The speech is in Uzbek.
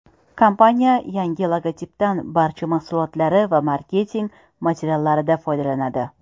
Kompaniya yangi logotipdan barcha mahsulotlari va marketing materiallarida foydalanadi.